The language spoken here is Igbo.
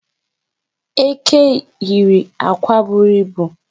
Eke yiri akwa buru ibu.